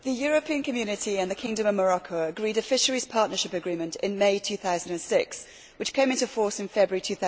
Mr President, the European Community and the Kingdom of Morocco agreed a Fisheries Partnership Agreement in May 2006, which came into force in February